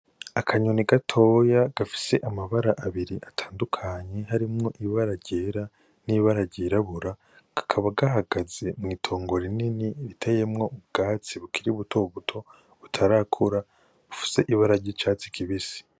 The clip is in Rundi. Akanyoni gatoya gafise amabara abiri atandukanye harimwo ibara ryera n'ibara ryirabura kakaba gahagaze mw'itongo rinini riteyemwo ubwatsi bukiri butobuto butarakura bufise ibara ry'icatsi kibisi.